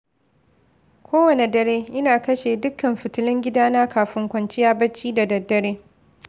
Kowane dare, ina kashe dukkan fitilun gidana kafin kwanciya bacci da daddare.